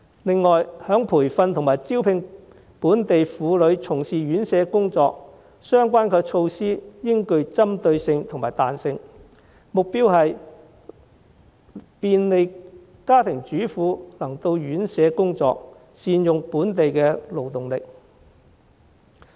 此外，在培訓及招聘本地婦女從事院舍工作方面，相關措施應具針對性和彈性，目標是便利家庭主婦能到院舍工作，善用本地勞動力。